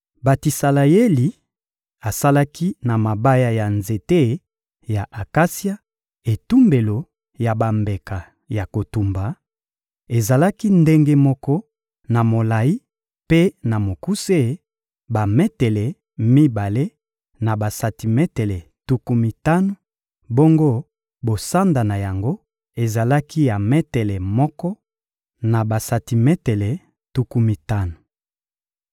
Betisaleyeli asalaki na mabaya ya nzete ya akasia etumbelo ya bambeka ya kotumba; ezalaki ndenge moko na molayi mpe na mokuse, bametele mibale na basantimetele tuku mitano; bongo bosanda na yango ezalaki ya metele moko na basantimetele tuku mitano.